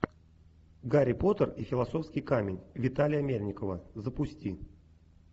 гарри поттер и философский камень виталия мельникова запусти